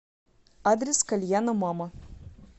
адрес кальяна мама